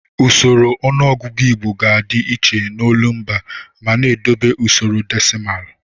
Usoro ọnụọgụgụ Igbo ga-adị iche n'olumba ma na-edobe usoro desịmalụ.